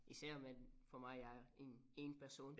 Især med for mig jeg er én én person